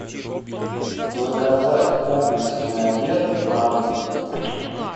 заказать комплексный обед на дом